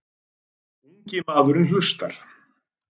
Ungi maðurinn hlustar.